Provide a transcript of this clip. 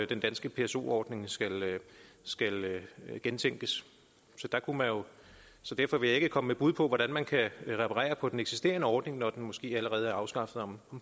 den danske pso ordning skal skal gentænkes så derfor vil jeg ikke komme med bud på hvordan man kan reparere på den eksisterende ordning når den måske allerede er afskaffet om